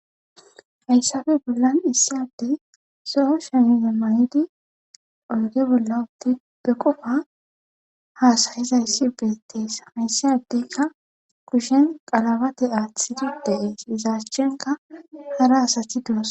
hayssafe bollan issadey soho shemiza mayidi oyge bolla udtippe qofa haasarizayssi beettees hayssiadeykka kushen qalabate aathsitida iizashchenka hara asati duas